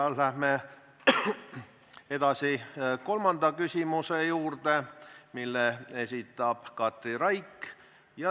Läheme edasi kolmanda küsimuse juurde, mille esitab Katri Raik.